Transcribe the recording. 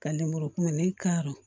Ka lemuru kumuni karɔ